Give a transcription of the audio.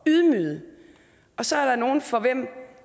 ydmyget og så er der nogle for hvem